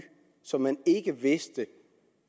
som man ikke vidste